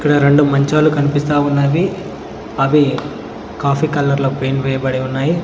రెండు మంచాలు కన్పిస్తా ఉన్నవి అవి కాఫీ కలర్లో పెయింట్ వేయబడి ఉన్నాయి.